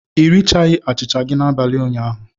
Ị righi achịcha gị n'abalị ụnyaahụ.